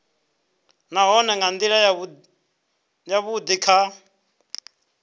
nahone nga ndila yavhudi kha